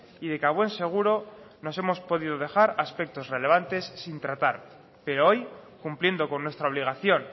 y de que a buen seguro nos hemos podido dejar aspectos relevantes sin tratar pero hoy cumpliendo con nuestra obligación